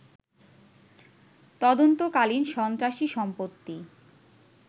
তদন্তকালীন সন্ত্রাসী সম্পত্তি